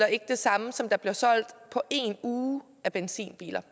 ikke det samme som der bliver solgt på en uge af benzinbiler